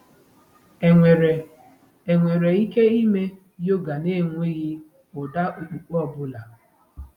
Enwere Enwere ike ịme yoga n'enweghị ụda okpukpe ọ bụla?